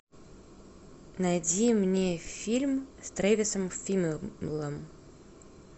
найди мне фильм с трэвисом фиммелом